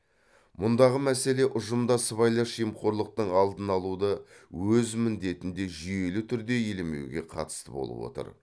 мұндағы мәселе ұжымда сыбайлас жемқорлықтың алдын алуды өз міндетінде жүйелі түрде елемеуге қатысты болып отыр